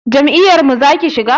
Jam'iyar mu zaka shiga?